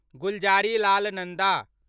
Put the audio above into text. Gulzarilal Nanda